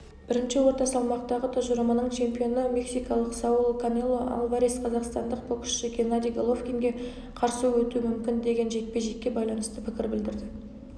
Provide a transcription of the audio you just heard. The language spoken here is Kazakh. бірінші орта салмақтағы тұжырымының чемпионы мексикалық сауль канело альварес қазақстандық боксшы геннадий головкинге қарсы өтуі мүмкін деген жекпе-жекке байланысты пікір білдірді